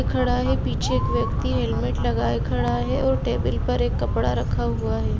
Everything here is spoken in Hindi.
खड़ा है पीछे एक व्यक्ति हेलमेट लगाये खड़ा है और टेबल पर एक कपड़ा रखा हुआ है।